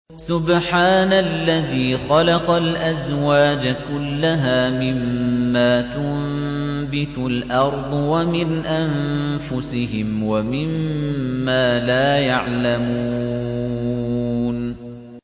سُبْحَانَ الَّذِي خَلَقَ الْأَزْوَاجَ كُلَّهَا مِمَّا تُنبِتُ الْأَرْضُ وَمِنْ أَنفُسِهِمْ وَمِمَّا لَا يَعْلَمُونَ